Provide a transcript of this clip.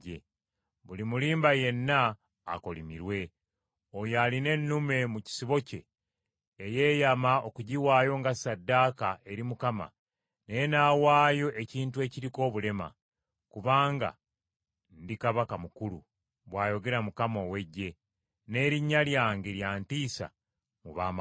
“Buli mulimba yenna akolimirwe, oyo alina ennume mu kisibo kye eyeeyama okugiwaayo nga ssaddaaka eri Mukama naye n’awaayo ekintu ekiriko obulema: kubanga ndi Kabaka mukulu,” bw’ayogera Mukama ow’Eggye, “n’erinnya lyange lya ntiisa mu baamawanga.”